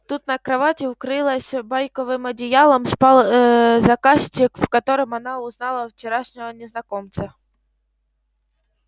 тут на кровати укрылась байковым одеялом спал ээ заказчик в котором она узнала вчерашнего незнакомца